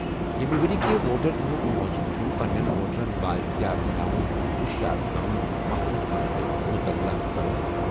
ییٚمہِ ؤرۍ یہِ کہِ ووٹر دۄہُک موضوع چھُ پننٮ۪ن ووٹرَن بااختیار بناوُن، ہوشیار کرُن، محفوٗظ کرُن تہٕ مطلع کرُن۔